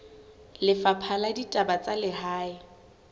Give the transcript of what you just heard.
lefapha la ditaba tsa lehae